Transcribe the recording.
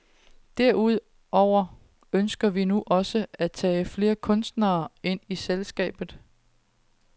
Derudover ønsker vi nu også at tage flere kunstnere ind i selskabet.